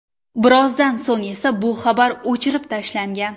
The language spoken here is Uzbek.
Birozdan so‘ng esa bu xabar o‘chirib tashlangan.